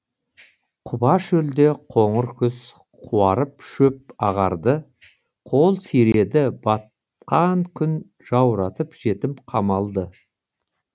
құба шөлде қоңыр күз қуарып шөп ағарды қол сиреді батқан күн жауратып жетім қамалды